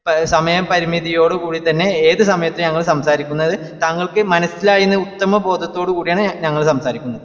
സമയപരിമിതിയോടുകൂടിത്തന്നെ ഏത് സമയത്തും ഞങ്ങള് സംസാരിക്കുന്നത് താങ്കൾക്ക്ക് മനസ്സിലായിഎന്ന ഉത്തമബോധത്തോട്കൂടിയാണ് ഞങ്ങള് സംസാരിക്കുന്നത്